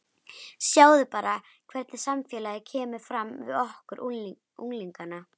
Sjáðu bara hvernig samfélagið kemur fram við okkur unglingana.